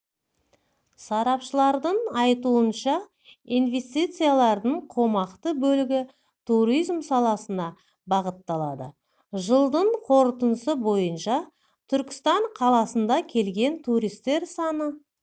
сарапшылардың айтуынша инвестициялардың қомақты бөлігі туризм саласына бағытталады жылдың қорытындысы бойынша түркістан қаласына келген туристер саны